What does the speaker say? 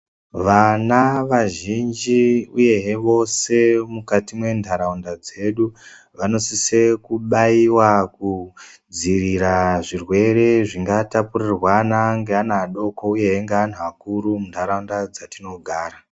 Vana vazhinji, uyehe vose mukati mwentharaunda dzedu, vanosise kubaiwa kudziirira zvirwere zvingatapurirwana ngeana adoko, uyehe ngeanthu akuru muntharaunda dzatinogara.